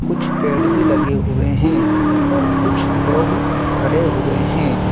कुछ पेड़ भी लगे हुए हैं और कुछ लोग खड़े हुए हैं।